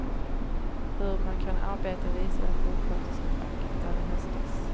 Hur man kan arbeta visade sjuksköterskefacket där i höstas.